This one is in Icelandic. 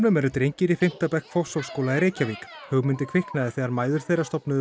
eru drengir í fimmta bekk Fossvogsskóla í Reykjavík hugmyndin kviknaði þegar mæður þeirra stofnuðu